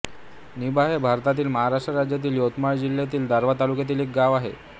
निंभा हे भारतातील महाराष्ट्र राज्यातील यवतमाळ जिल्ह्यातील दारव्हा तालुक्यातील एक गाव आहे